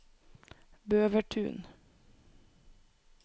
Bøvertun